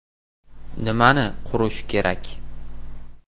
Nimani qurish kerak?